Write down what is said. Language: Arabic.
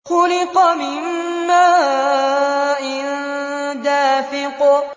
خُلِقَ مِن مَّاءٍ دَافِقٍ